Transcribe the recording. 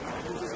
Nə?